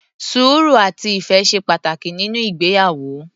Sùúrù, àti ìfẹ́ ṣe pàtàkì nínú ìgbéyàwó.